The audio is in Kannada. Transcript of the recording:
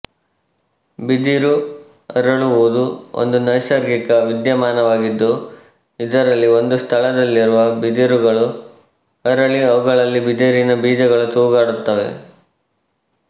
ಬಿದಿರು ಅರಳುವುದು ಒಂದು ನೈಸರ್ಗಿಕ ವಿದ್ಯಮಾನವಾಗಿದ್ದು ಇದರಲ್ಲಿ ಒಂದು ಸ್ಥಳದಲ್ಲಿರುವ ಬಿದಿರುಗಳು ಅರಳಿ ಅವುಗಳಲ್ಲಿ ಬಿದಿರಿನ ಬೀಜಗಳು ತೂಗಾಡುತ್ತವೆ